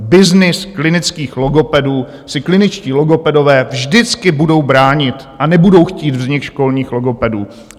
Byznys klinických logopedů si kliničtí logopedové vždycky budou bránit a nebudou chtít vznik školních logopedů.